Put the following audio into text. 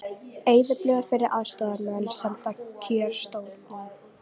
Eyðublöð fyrir aðstoðarmenn send kjörstjórnum